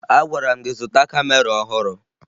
Agwara m gị zụta kamera ọhụrụ!